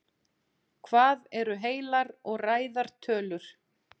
hvað eru heilar og ræðar tölur